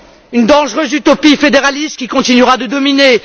Une dangereuse utopie fédéraliste qui continuera de dominer.